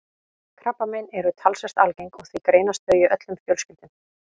Krabbamein eru talsvert algeng og því greinast þau í öllum fjölskyldum.